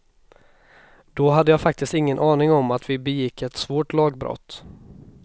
Då hade jag faktiskt ingen aning om att vi begick ett svårt lagbrott.